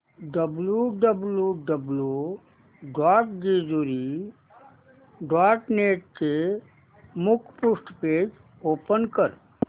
W W W dot Jejuri dot net चे मुखपृष्ठ page open कर